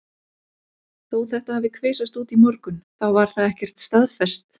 Þó þetta hafi kvisast út í morgun þá var það ekkert staðfest.